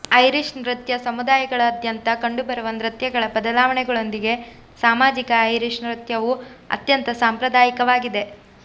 Irish ನೃತ್ಯ ಸಮುದಾಯಗಳಾದ್ಯಂತ ಕಂಡುಬರುವ ನೃತ್ಯಗಳ ಬದಲಾವಣೆಗಳೊಂದಿಗೆ ಸಾಮಾಜಿಕ ಐರಿಶ್ ನೃತ್ಯವು ಅತ್ಯಂತ ಸಾಂಪ್ರದಾಯಿಕವಾಗಿದೆ